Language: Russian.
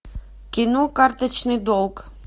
кино карточный долг